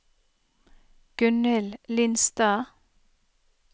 Gunnhild Lindstad